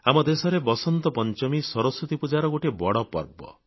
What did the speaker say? ଆମ ଦେଶରେ ବସନ୍ତ ପଂଚମୀ ସରସ୍ୱତୀ ପୂଜାର ଗୋଟିଏ ବଡ଼ ପର୍ବ